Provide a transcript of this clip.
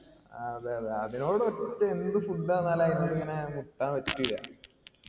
ആ അതെ അതെ അതിനോട് ഒറ്റ എന്ത് food വന്നാല് ആയിനോട് മുട്ടാൻ പറ്റൂല